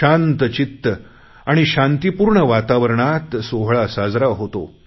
शांत चित्त आणि शांततापूर्ण वातावरणात सोहळा साजरा होतो